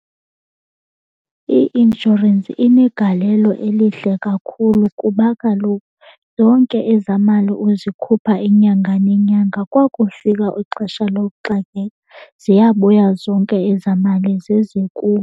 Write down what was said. I-inshorensi inegalelo elihle kakhulu kuba kaloku zonke ezaa mali uzikhupha inyanga nenyanga kwakufika ixesha lokuxakeka ziyabuya zonke ezaa mali zize kuwe.